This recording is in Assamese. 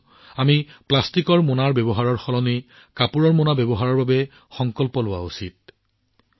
অন্ততঃ আমি সকলোৱে প্লাষ্টিকৰ মোনাবোৰ কাপোৰৰ মোনাৰ সৈতে সলনি কৰাৰ প্ৰতিশ্ৰুতি লোৱা উচিত